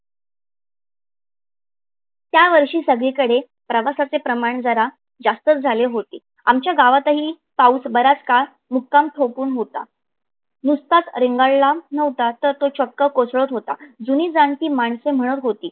या वर्षी सगळीकडे प्रवासाचे प्रमाण जरा जास्ताच झाले होते. आमच्या गावातही पाऊस बराच काळ मुक्काम ठोकुन होता. नुसताच रेंगाळला नव्हता तर तो चक्क कोसळत होता. जुनी जानती माणसं म्हणत होती.